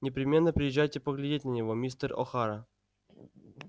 непременно приезжайте поглядеть на него мистер охара